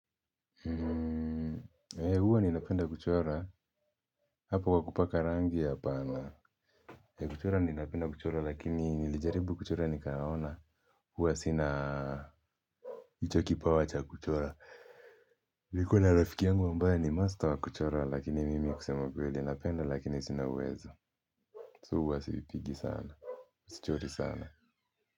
Hmmm ee huwa ninapenda kuchora hapo kwa kupaka rangi apana ee kuchora ninapenda kuchora lakini nilijaribu kuchora nikaona huwa sina hicho kipawa cha kuchora nilikuwa na rafiki yangu ambaye ni master wa kuchora lakini mimi kusema kweli ninapenda lakini sina uwezo so huwa siipigi sana sichori sana.